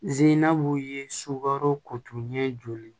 Ziinabu ye sukaro kotunni ye joli